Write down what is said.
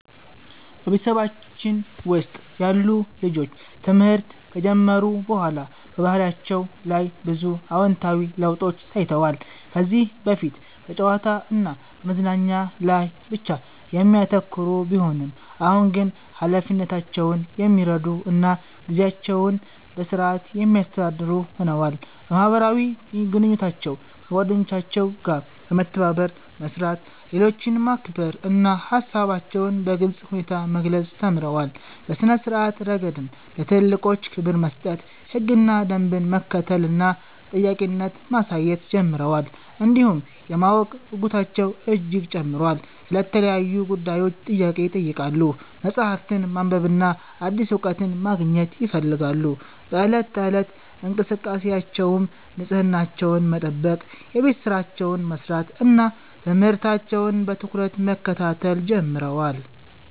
በቤተሰባችን ውስጥ ያሉ ልጆች ትምህርት ከጀመሩ በኋላ በባህሪያቸው ላይ ብዙ አዎንታዊ ለውጦች ታይተዋል። ከዚህ በፊት በጨዋታ እና በመዝናኛ ላይ ብቻ የሚያተኩሩ ቢሆኑም፣ አሁን ግን ኃላፊነታቸውን የሚረዱ እና ጊዜያቸውን በሥርዓት የሚያስተዳድሩ ሆነዋል። በማህበራዊ ግንኙነታቸው ከጓደኞቻቸው ጋር በመተባበር መስራት፣ ሌሎችን ማክበር እና ሃሳባቸውን በግልጽ ሁኔታ መግለጽ ተምረዋል። በሥነ-ስርዓት ረገድም ለትልልቆች ክብር መስጠት፣ ህግና ደንብን መከተል እና ተጠያቂነት ማሳየት ጀምረዋል። እንዲሁም የማወቅ ጉጉታቸው እጅግ ጨምሯል፤ ስለ ተለያዩ ጉዳዮች ጥያቄ ይጠይቃሉ፣ መጽሐፍትን ማንበብና አዲስ እውቀት ማግኘት ይፈልጋሉ። በዕለት ተዕለት እንቅስቃሴያቸውም ንጽህናቸውን መጠበቅ፣ የቤት ሥራቸውን መስራት እና ትምህርታቸውን በትኩረት መከታተል ጀምረዋል።